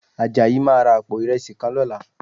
Àjàyí máa ra àpò ìrẹsì kan lọ́la